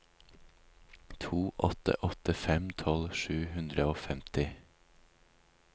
to åtte åtte fem tolv sju hundre og femti